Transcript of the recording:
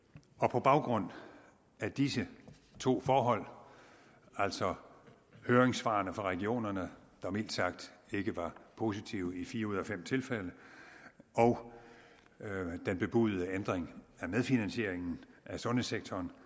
på baggrund af disse to forhold altså høringssvarene fra regionerne der mildt sagt ikke var positive i fire ud af fem tilfælde og den bebudede ændring af medfinansieringen af sundhedssektoren